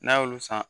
N'a y'olu san